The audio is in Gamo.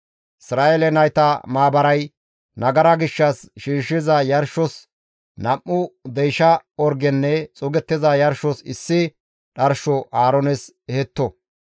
«Isra7eele nayta maabaray nagara gishshas shiishshiza yarshos nam7u deysha orgenne xuugettiza yarshos issi dharsho Aaroones ehetto.